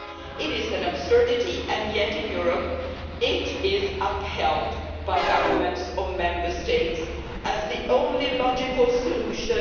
This is an absurdity, and yet in Europe it is upheld by governments of Member States as the only logical solution.